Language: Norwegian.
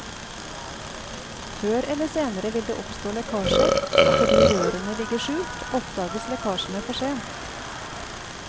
Før eller senere vil det oppstå lekkasjer, og fordi rørene ligger skjult, oppdages lekkasjene for sent.